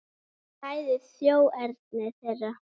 Hvað ræður þjóðerni þeirra?